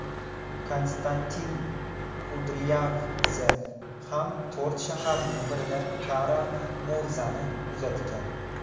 Konstantin Kudryavtsev ham to‘rt shaharning birida Kara-Murzani kuzatgan.